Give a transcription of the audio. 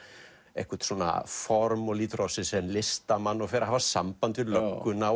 eitthvert form og lítur á sig sem listamann og fer að hafa samband við lögguna